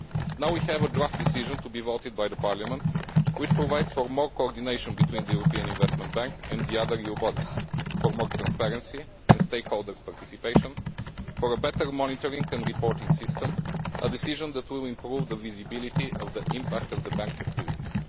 Now we have a draft decision to be voted by Parliament which provides for more coordination between the European Investment Bank and the other EU bodies, for more transparency and stakeholder participation, and for a better monitoring and reporting system a decision that will improve the visibility of the impact of the bank's activities.